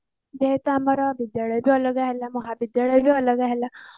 ଯେହେତୁ ଆମର ବିଦ୍ୟାଳୟ ବି ଅଲଗା ହେଲା ମହାବିଦ୍ୟାଳୟ ବି ଅଲଗା ହେଲା